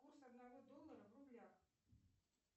курс одного доллара в рублях